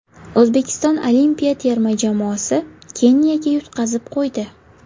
O‘zbekiston olimpiya terma jamoasi Keniyaga yutqazib qo‘ydi.